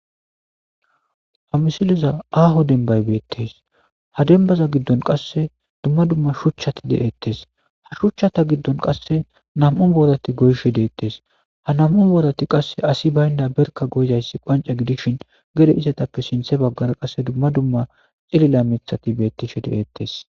ha misiliza aaho denbay beettes ha dembaza giddon qasse dumma dumma shuchchati de'ettes ha shuchchata giddon qasse nam'un boodati goyshe deettes ha nam'un boodati qasse asi baynda berka goydayssi qonce gidishin gede izetappe sinthe baggara qasse dumma dumma xilila mithati bettishe de'eettes